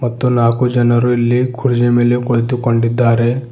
ಮತ್ತು ನಾಲ್ಕು ಜನರು ಇಲ್ಲಿ ಕೂರ್ಜಿ ಮೇಲೆ ಕುಳಿತುಕೊಂಡಿದ್ದಾರೆ.